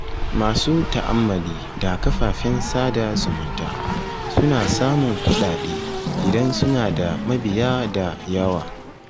Masu ta'ammali da kafafen sada zumunta suna samun kuɗaɗe idan suna da mabiya da yawa.